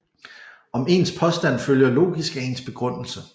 Om ens påstand følger logisk af ens begrundelse